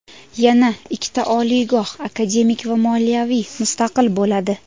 Yana ikkita oliygoh akademik va moliyaviy mustaqil bo‘ladi.